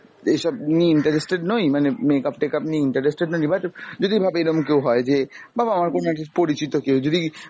এইসব নিয়ে interested নই মানে makeup টেকাপ নিয়ে interested নই but যদি ভাব এরম কেও হয় যে বা আমার কোন একজন পরিচিত কেও যদি